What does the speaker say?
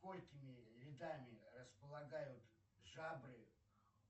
сколькими рядами располагают жабры